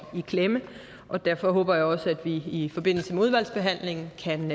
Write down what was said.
i klemme derfor håber jeg også at vi i forbindelse med udvalgsbehandlingen kan